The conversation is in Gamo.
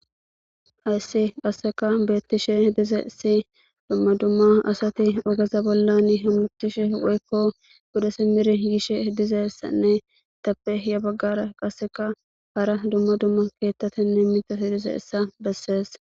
Hayssi qasseka beettishe dize si dumma dumma asati ogeza bollan hammutishe woykko godesi mir yishe dizeessanne tappe ya baggara qasseka hara dumma dumma keettatenne mitos dize issa bessees.